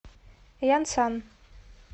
янсан